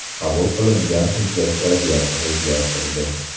Qabul qilingan hujjat vaziyatni o‘zgartirdi.